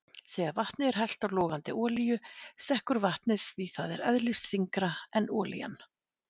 Þegar vatni er hellt á logandi olíu sekkur vatnið, því það er eðlisþyngra en olían.